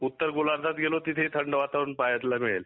उत्तर गोलार्धात गेलो तेथेही थंड वातावरण पाहायला मिळेल